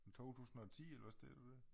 2010 eller hvad står der dér?